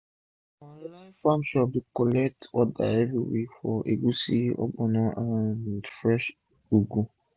our online farm shop dey collect order every week for egusi ogbono and fresh ugu